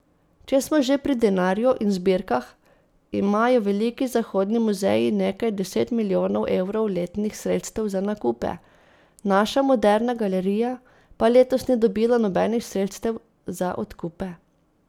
Če smo že pri denarju in zbirkah, imajo veliki zahodni muzeji nekaj deset milijonov evrov letnih sredstev za nakupe, naša Moderna galerija pa letos ni dobila nobenih sredstev za odkupe.